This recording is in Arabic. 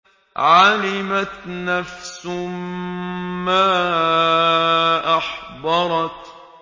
عَلِمَتْ نَفْسٌ مَّا أَحْضَرَتْ